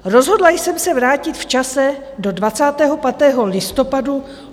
Rozhodla jsem se vrátit v čase do 25. listopadu.